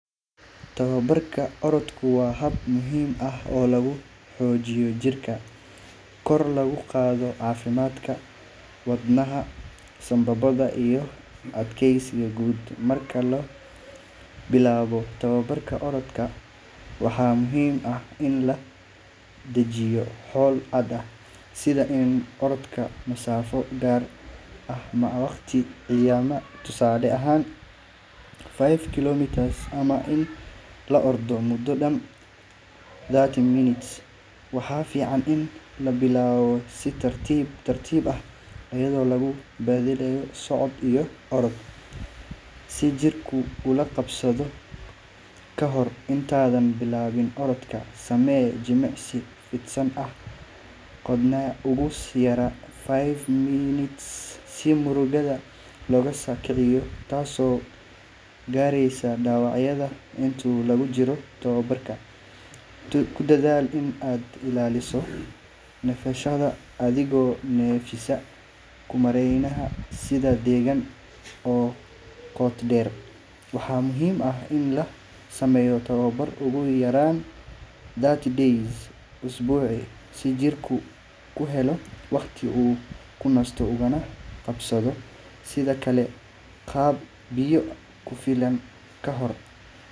Tababarka orodku waa hab muhiim ah oo lagu xoojiyo jirka, korna loogu qaado caafimaadka wadnaha, sambabada iyo adkeysiga guud. Marka la bilaabayo tababarka orodka, waxaa muhiim ah in la dejiyo yool cad, sida in la ordo masaafo gaar ah ama waqti cayiman, tusaale ahaan five kilometers ama in la ordo muddo dhan thirty minutes. Waxaa fiican in la bilaabo si tartiib tartiib ah, iyadoo lagu beddelayo socod iyo orod si jirku ula qabsado. Kahor intaadan bilaabin orodka, samee jimicsi fidsan ah oo qaadanaya ugu yaraan five minutes si murqaha loosoo kiciyo, taasoo yaraynaysa dhaawacyada. Inta lagu jiro tababarka, ku dadaal in aad ilaaliso neefsashada, adigoo neefsiga ku maareynaya si deggan oo qoto dheer. Waxaa muhiim ah in la sameeyo tababar ugu yaraan three days usbuucii, si jirku u helo waqti uu ku nasto ugana kabsado. Sidoo kale, cab biyo ku filan ka hor.